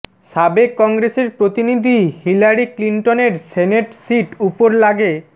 সাবেক কংগ্রেসের প্রতিনিধি হিলারি ক্লিনটন এর সেনেট সীট উপর লাগে